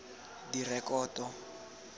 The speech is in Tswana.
direkoto